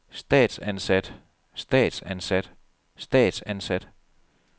statsansat statsansat statsansat